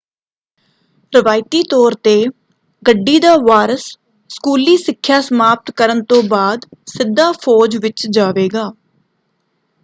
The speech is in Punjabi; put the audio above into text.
ਰਵਾਇਤੀ ਤੌਰ ‘ਤੇ ਗੱਡੀ ਦਾ ਵਾਰਸ ਸਕੂਲੀ ਸਿੱਖਿਆ ਸਮਾਪਤ ਕਰਨ ਤੋਂ ਬਾਅਦ ਸਿੱਧਾ ਫੌਜ ਵਿੱਚ ਜਾਵੇਗਾ।